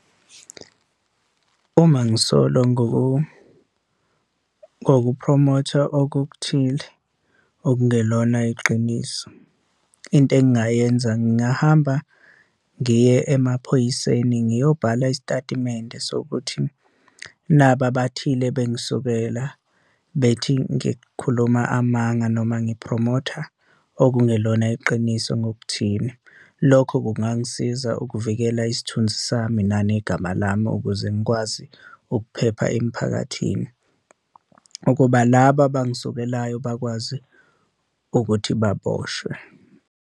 Uma ngisolwa ngokuphromotha okuthile okungelona iqiniso, into engayenza ngingahamba ngiye emaphoyiseni ngiyobhala isitatimende sokuthi naba abathile bengisukela bethi ngikhuluma amanga noma ngiphromotha okungelona iqiniso ngokuthile. Lokho kungangisiza ukuvikela isithunzi sami nanegama lami ukuze ngikwazi ukuphepha emphakathini, ukuba laba abangisukelayo bakwazi ukuthi baboshwe.